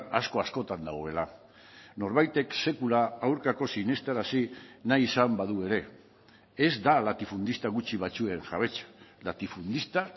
asko askotan dagoela norbaitek sekula aurkako sinestarazi nahi izan badu ere ez da latifundista gutxi batzuen jabetza latifundista